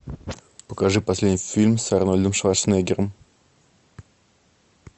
покажи последний фильм с арнольдом шварценеггером